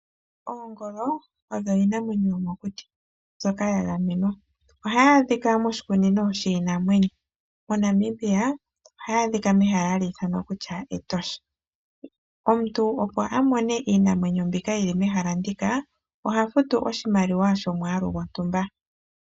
Oongolo odho iinamwenyo yomokuti mbyoka ya gamenwa. Ohayi adhika moshikunino shiinamwenyo. MoNamibia ohayi adhika mehala hali ithanwa Etosha. Omuntu opo a mone iinamwenyo mbyoka yi li nehala moka oha futu oshimaliwa shomwaalu gwontumba.